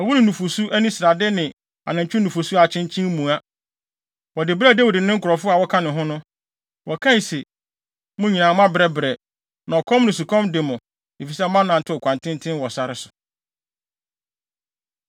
ɛwo ne nufusu ani srade ne anantwi nufusu a akyenkyen mua. Wɔde brɛɛ Dawid ne ne nkurɔfo a wɔka ne ho no. Na wɔkae se, “Mo nyinaa moabrɛbrɛ, na ɔkɔm ne osukɔm de mo efisɛ moanantew kwan tenten wɔ sare so.”